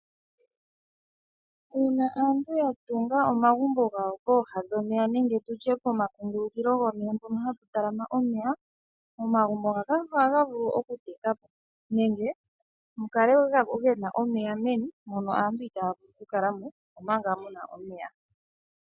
Uuna aantu ya tunga omagumbo gawo pomakungulukulo gomeya nenge tutye mpono hapu tala ma omeya. Omagumbo ngaaka ohaga vulu oku tekapo. Nenge mukale gena omeya meni mono aantu itaaya vulu oku kala mo. Omanga muna omeya.